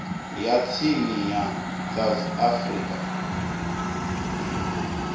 ya tsini ya south african